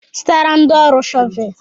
Zụtara ndị ọrụ shọvel!